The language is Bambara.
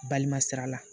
Balima sira la